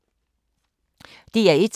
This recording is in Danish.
DR1